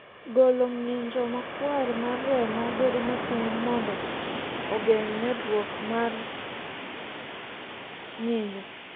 golo ng'injo makwar mar remo bedo matin mondo ogeng' medruok mar nyinyo